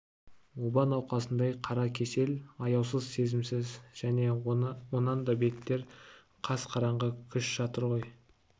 оба науқасындай қара кесел аяусыз сезімсіз және онан да бетер қас қараңғы күш жатыр ғой